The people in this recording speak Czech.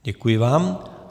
Děkuji vám.